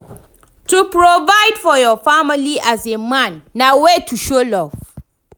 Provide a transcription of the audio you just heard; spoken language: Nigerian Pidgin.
To provide for your family as a man na way to show love